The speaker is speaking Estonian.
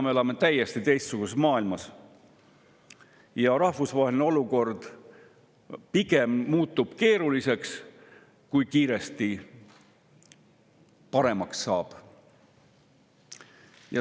Me elame täiesti teistsuguses maailmas ja rahvusvaheline olukord muutub pigem keerulisemaks, mitte ei saa kiiresti paremaks.